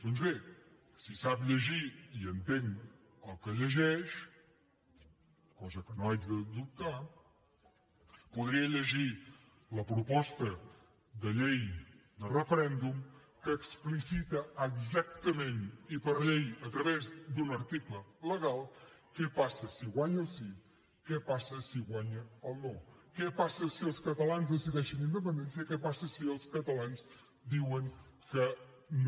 doncs bé si sap llegir i entén el que llegeix cosa que no haig de dubtar podria llegir la proposta de llei de referèndum que explicita exactament i per llei a través d’un article legal què passa si guanya el sí què passa si guanya el no què passa si els catalans decideixen independència què passa si els catalans diuen que no